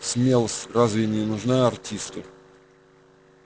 смелость разве не нужна артисту